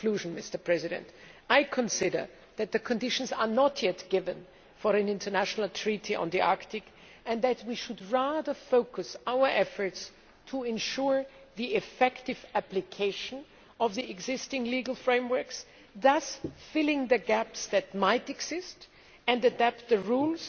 In conclusion, I consider that the conditions are not yet right for an international treaty on the Arctic, and that we should rather focus our efforts on ensuring the effective application of the existing legal frameworks, thus filling the gaps that might exist, and adapting the rules